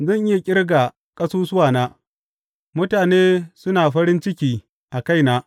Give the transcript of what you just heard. Zan iya ƙirga ƙasusuwana; mutane suna farin ciki a kaina.